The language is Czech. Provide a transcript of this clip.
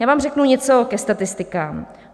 Já vám řeknu něco ke statistikám.